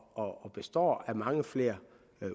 består af mange flere